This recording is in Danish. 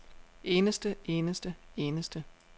eneste eneste eneste